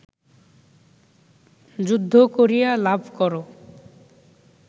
যুদ্ধ করিয়া লাভ কর